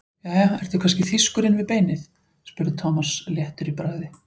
Jæja, ertu kannski þýskur inni við beinið? spurði Thomas léttur í bragði.